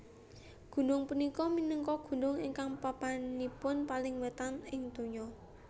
Gunung punika minangka gunung ingkang papanipun paling wetan ing donya